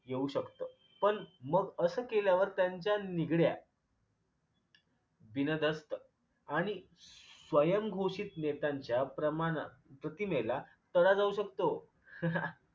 येऊ शकत पण मग अस केल्यावर त्याच्या निगड्या बिनदस्त आणि स्वयंघोषित नेत्यांच्या प्रमाणात प्रतिमेला तडा जाऊ शकतो